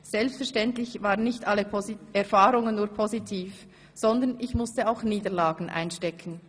Selbstverständlich waren nicht alle Erfahrungen nur positiv, sondern ich musste auch Niederlagen einstecken.